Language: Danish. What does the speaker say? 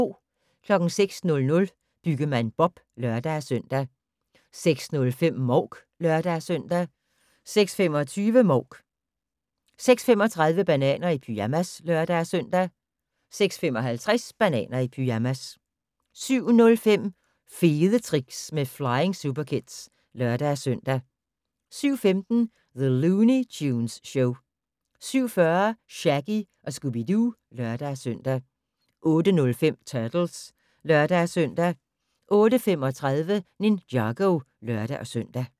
06:00: Byggemand Bob (lør-søn) 06:05: Mouk (lør-søn) 06:25: Mouk 06:35: Bananer i pyjamas (lør-søn) 06:55: Bananer i pyjamas 07:05: Fede tricks med Flying Superkids (lør-søn) 07:15: The Looney Tunes Show 07:40: Shaggy & Scooby-Doo (lør-søn) 08:05: Turtles (lør-søn) 08:35: Ninjago (lør-søn)